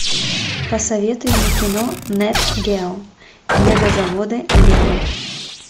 посоветуй мне кино нет гео мегазаводы лего